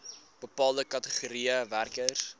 bepaalde kategorieë werkers